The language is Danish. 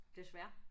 Desværre